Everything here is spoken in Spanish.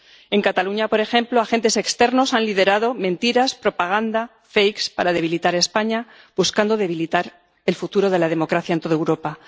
En Cataluña, por ejemplo, agentes externos han liderado mentiras, propaganda, fakes para debilitar España, buscando debilitar el futuro de la democracia en toda Europa.